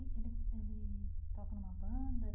E ele ele toca numa banda?